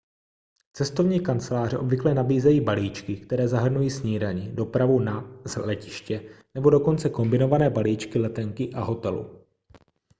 cestovní kanceláře obvykle nabízejí balíčky které zahrnují snídani dopravu na/z letiště nebo dokonce kombinované balíčky letenky a hotelu